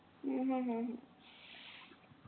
हम्म हम्म हम्म